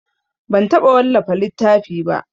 Ban taɓa wallafa littafi ba.